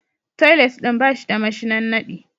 Toilet din ba shi da mashinan nadi